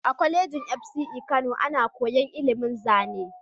A kolejin FCE Kano ana koyan ilimin zane